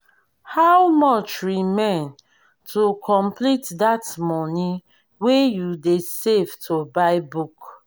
how much remain to complete dat money wey you dey save to buy book?